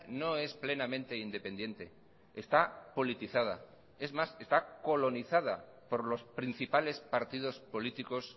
no es plenamente independiente está politizada es más está colonizada por los principales partidos políticos